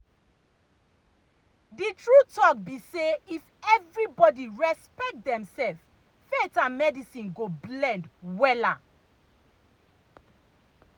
the true talk be say if everybody respect dem self faith and medicine go blend wella.